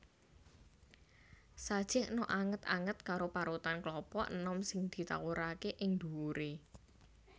Sajèkna anget anget karo parutan klapa enom sing ditawuraké ing ndhuwuré